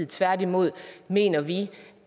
tværtimod mener vi